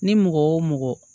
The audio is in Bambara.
Ni mɔgɔ wo mɔgɔ